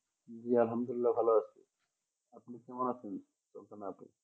আল্লাহামদুল্লিয়া ভালো আছি আপনি কেমন আছেন কোন খানে আছেন